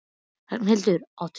Ragnhildur, áttu tyggjó?